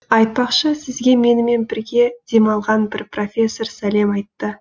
айтпақшы сізге менімен бірге демалған бір профессор сәлем айтты